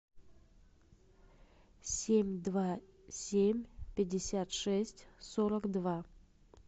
семь два семь пятьдесят шесть сорок два